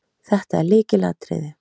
Þetta er lykilatriði